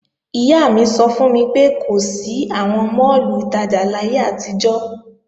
Ìyá mi sọ fún mi pé kò sí àwọn máàlù ìtajà láyé àtijọ́